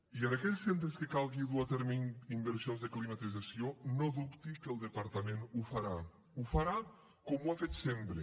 i en aquells centres que calgui dur a terme inversions de climatització no dubti que el departament ho farà ho farà com ho ha fet sempre